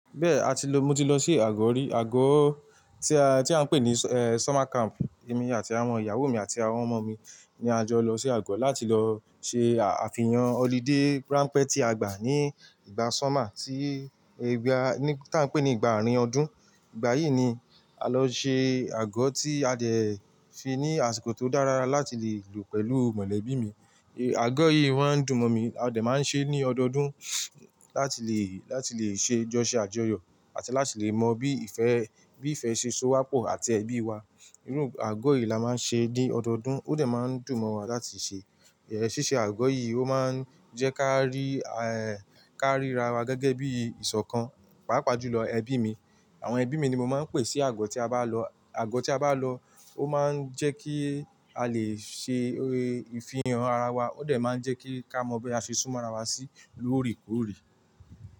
Bẹ́ẹ̀ a ti lọ, mo ti lọ sí àgọ rí, àgọ tí a, tí a ń pè ní summer camp. Èmi àti àwọn ìyàwó mi àti àwọn ọmọ mi ni a jọ lọ sí àgọ láti lọ ṣe àfihàn holiday rampẹ tí a gbà ní ìgbà summer tí ẹgbàá, taa n pè ní ìgbà àárín ọdún. Ìgbà yìí ni a lọ ṣe àgọ tí a dẹ̀ fi ní àsìkò tó dára láti lè lò pẹ̀lú mọ̀lẹ́bí mi. Àgọ yìí wọ́n dùn mọ́ mi, a dẹ̀ máa ń ṣe é ní ọdọọdún láti lè, láti lè ṣe jọ́ṣẹ àjọyọ̀ àti láti lè mọ bí ìfẹ́, bí ìfẹ́ ṣe so wapọ̀ àti ẹbí wa. Irú àgọ yìí la máa ń ṣe ní ọdọọdún, ó dẹ̀ máa ń dùn mọ́ wa láti ṣe. Síṣe àgọ yìí ó máa ń jẹ́ ká rí ẹ, ká ríra wa gẹ́gẹ́ bí ìṣọ̀kan, pàápàá jùlọ ẹbí mi. Àwọn ẹbí mi ni mo máa ń pè sí àgọ tí a bá lọ. Àgọ tí a bá lọ ó máa ń jẹ́ kí a lè ṣe ìfihàn ara wa, ó dẹ̀ máa ń jẹ́ kí ká mọ bí a ṣe súnmọ́ ara wa sí lóore kòore.